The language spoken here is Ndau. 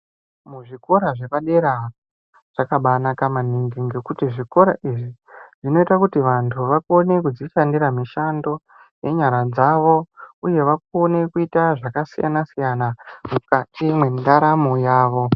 Muzvikora zvepadera zvakabaanaka maningi ngekuti zvikora izvi zvinoita kuti vantu vakone kuzvishandira mishando nenyara dzavo uye vakone kuita zvakasiyana-siyana mukati mendaramo yavo.